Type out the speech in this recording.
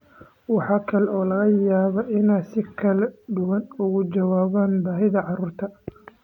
Waxa kale oo laga yaabaa inay si kala duwan uga jawaabaan baahida carruurta.